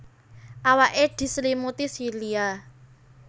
Awake diselimuti silia